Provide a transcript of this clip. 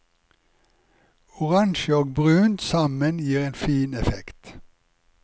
Oransje og brunt sammen gir en fin effekt.